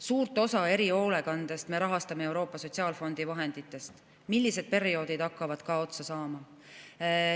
Suurt osa erihoolekandest me rahastame Euroopa Sotsiaalfondi vahenditest, need perioodid hakkavad ka otsa saama.